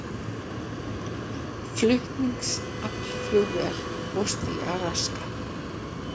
Flutningaflugvél fórst í Alaska